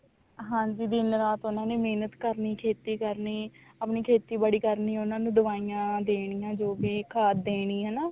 ਹਾਂਜੀ ਦਿਨ ਰਾਤ ਉਹਨਾ ਨੇ ਮਿਹਨਤ ਕਰਨੀ ਖੇਤੀ ਕਰਨੀ ਆਪਣੀ ਖੇਤੀਬਾੜੀ ਕਰਨੀ ਉਹਨਾ ਨੂੰ ਦਵਾਈਆਂ ਦੇਣੀਆਂ ਜੋ ਵੀ ਖਾਦ ਦੇਣੀ ਹਨਾ